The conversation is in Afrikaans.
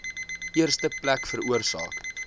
eerste plek veroorsaak